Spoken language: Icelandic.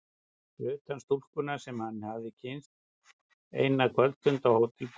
Fyrir utan stúlkuna sem hann hafði kynnst eina kvöldstund á Hótel Borg.